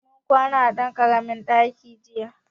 Mun kwana a ɗan ƙaramin ɗaki jiya.